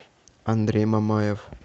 андрей мамаев